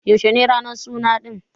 Yaushe ne ranan suna ɗin?